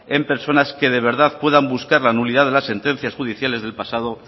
en personas que de verdad puedan buscar la nulidad de las sentencias judiciales del pasado